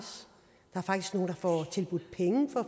får tilbudt penge for at